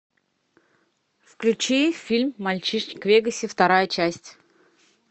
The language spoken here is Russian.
включи фильм мальчишник в вегасе вторая часть